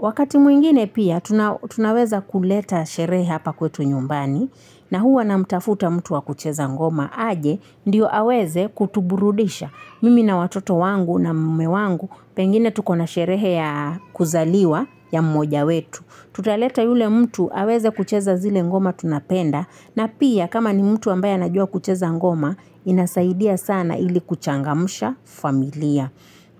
Wakati mwingine pia tunaweza kuleta sherehe hapa kwetu nyumbani na huwa namtafuta mtu wa kucheza ngoma. Aje, ndio aweze kutuburudisha. Mimi na watoto wangu na mume wangu, pengine tuko na sherehe ya kuzaliwa ya mmoja wetu. Tutaleta yule mtu aweze kucheza zile ngoma tunapenda, na pia kama ni mtu ambaye anajua kucheza ngoma, inasaidia sana ili kuchangamsha familia.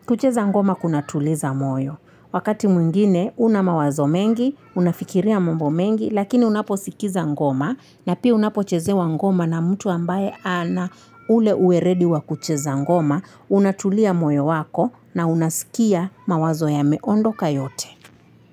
Kucheza ngoma kunatuliza moyo. Wakati mwingine, una mawazo mengi, unafikiria mambo mengi, lakini unaposikiza ngoma, na pia unapochezewa ngoma na mtu ambaye ana ule uweledi wa kucheza ngoma, unatulia moyo wako na unasikia mawazo yameondoka yote.